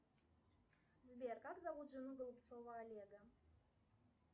сбер как зовут жену голубцова олега